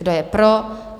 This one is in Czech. Kdo je pro?